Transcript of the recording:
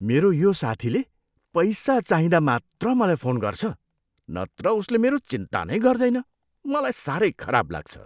मेरो यो साथीले पैसा चाहिँदा मात्र मलाई फोन गर्छ नत्र उसले मेरो चिन्ता नै गर्दैन, मलाई साह्रै खराब लाग्छ।